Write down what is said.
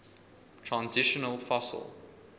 transitional fossil